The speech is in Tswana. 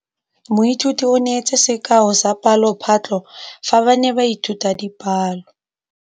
Moithuti o neetse sekaô sa palophatlo fa ba ne ba ithuta dipalo.